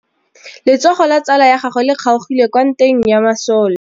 Letsôgô la tsala ya gagwe le kgaogile kwa ntweng ya masole.